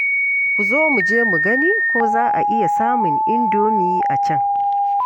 Ku zo mu je mu gani ko za a iya samun idomi a can.